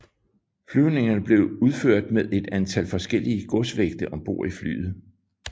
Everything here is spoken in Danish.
Flyvningerne blev udført med et antal forskellige godsvægte ombord i flyet